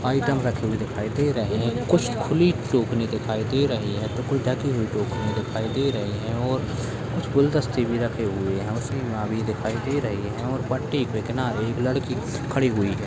Item रखे हुए दिखाई दे रहे हैकुछ खुली टोकरी दिखाई दे रही है तो कोई ढकी हुई दिखाई दे रही है और कुछ गुलदस्ते भी रखे हुए है उसके पीछे कुर्सी रखी दिखाई दे रही है और पट्टी की किनारे लड़की भी खड़ी हुई है।